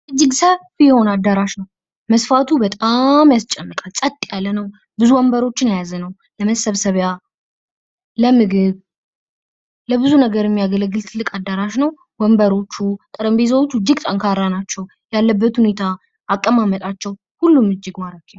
እጅግ ሰፊ የሆነ አዳራሽ ነው መስፋቱ በጣም ያስጨንቃል ፀጥ ያለ ነው ብዙ ወንበሮችን የያዘ ነው ለመሰብሰቢያ ለምግብ ለብዙ ነገር የሚያገለግል ትልቅ አዲራሽ ነው ወንበሮቹ ጠረጴዛዎቹ እጅግ ጠንካራ ናቸው ያለበት ሁኔታ ያለበት ሁኔታ አቀማመጣቸው ሁሉም እጅግ ማራኪ ነው ።